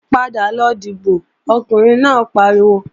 Padà lọ dìbò, Ọkùnrin náà pariwo!